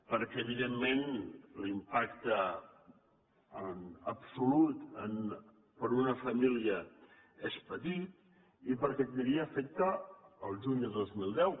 perquè evidentment l’impacte absolut per a una família és petit i perquè tindria efecte el juny de dos mil deu